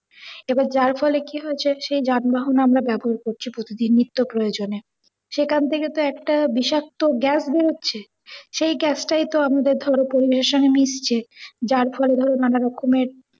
এবার জার ফলে কি হয়েছে, সেই যানবাহন আমরা ব্যবহার করছি প্রতেকদিন নিত্য প্রয়োজনে। সেখান থেকে তো একটা বিষাক্ত গ্যাস বেরে, সেই গ্যাসটাই তো আমাদের ধরো pollution এ মিশছে যার ফলে নানা রকমের